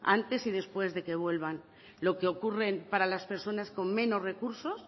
antes y después de que vuelvan lo que ocurren para las personas con menos recursos